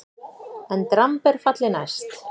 EN DRAMB ER FALLI NÆST!